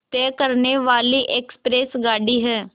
तय करने वाली एक्सप्रेस गाड़ी है